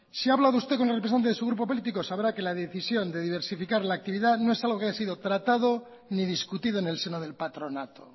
si ha hablado usted con el representante de su grupo político sabrá que la decisión de diversificar la actividad no es algo que haya sido tratado ni discutido en el seno del patronado